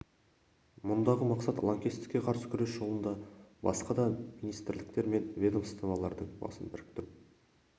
мұндағы мақсат лаңкестікке қарсы күрес жолында басқа да министрліктер мен ведомстволардың басын біріктіру